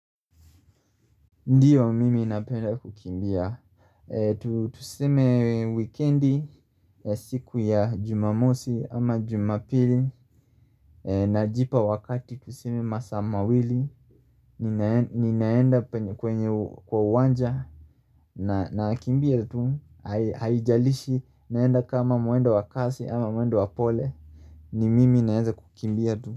Ndiyo mimi napenda kukimbia Tuseme weekendi siku ya jumamosi ama jumapili Najipa wakati tuseme masaa mawili Ninaenda kwenye kwa uwanja na kimbia tu haijalishi naenda kama muendo wakasi ama muendo wapole ni mimi naeza kukimbia tu.